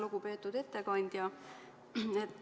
Lugupeetud ettekandja!